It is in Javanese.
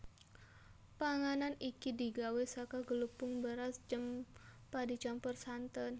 Panganan iki digawé saka glepung beras cempa dicampur santen